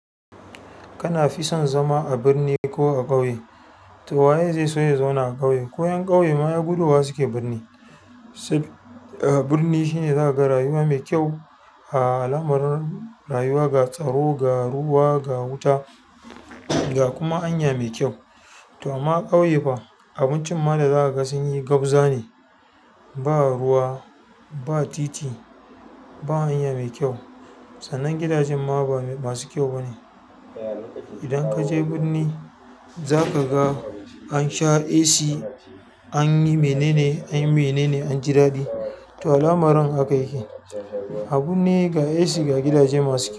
Kana fi son zama a birni ko a ƙauye? To waye zai so ya zauna a ƙauye ko ƴan ƙauye ma ai gudowa suke birni. Birni shine zaka ga rayuwa me kyau, al'amarin, rayuwa, ga tsaro, ga ruwa, ga wuta, ga kuma hanya mai kyau. To amma ƙauye fa? Abincin ma da za ka ga sun yi gabza ne. Ba ruwa ba titi ba hanya mai kyau sannan gidajen ma ba masu kyau bane idan ka je birni, za ka ga an sha AC an yi mene anyi menene an ji daɗi to al'amarin haka yake. A birni ga AC, ga gidaje masu kyau.